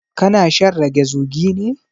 Ka na shan rage zugi ne?